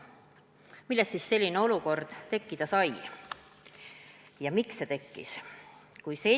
Millest selline olukord tekkida sai ja miks see tekkis?